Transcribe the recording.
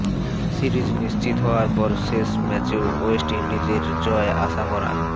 series নিশ্চত হওয়ার পর শেষ ম্যাচেও ওয়েস্ট ইন্ডিজের জয় আশা করা